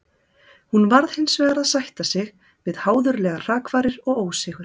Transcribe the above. Hún varð hinsvegar að sætta sig við háðulegar hrakfarir og ósigur.